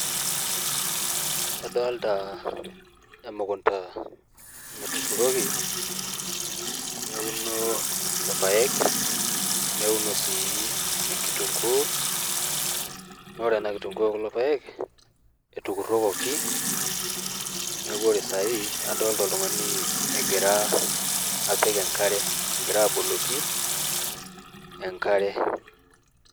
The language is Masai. Adolta emukunda natuturoki neuno irpaek, neuno sii enkitung'uu , naa ore ena kitung'uu o kulo paek etukurokoki neeku ore saai adolta oltung'ani egira apik enkare, egira aboloki enkare.